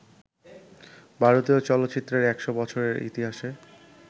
ভারতীয় চলচ্চিত্রের ১০০ বছরের ইতিহাসে